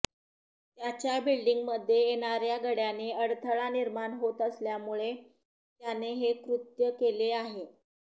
त्याच्या बिल्डिंगमध्ये येणाऱ्या गड्याने अडथळा निर्माण होत असल्यामुळे त्याने हे कृत केले आहे